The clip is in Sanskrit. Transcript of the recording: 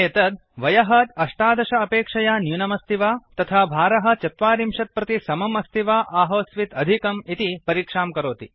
एतत् वयः १८ अपेक्षया न्यूनमस्ति वा तथा भारः ४० प्रति समम् अस्ति वा आहोस्वित् अधिकम् इति परीक्षां करोति